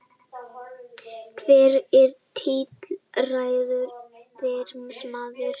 Hver er tilræðismaðurinn